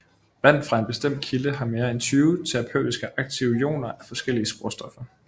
Vand fra en bestemt kilde har mere end 20 terapeutisk aktive ioner af forskellige sporstoffer